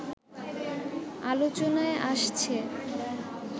আলোচনায় আসছে